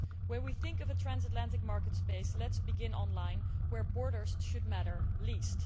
When we think of a transatlantic market space, let us begin online where borders should matter least.